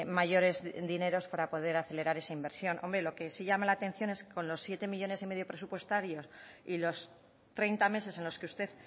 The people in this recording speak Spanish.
mayores dineros para poder acelerar esa inversión hombre lo que sí llama la atención es con los siete coma cinco millónes presupuestarios y los treinta meses en los que usted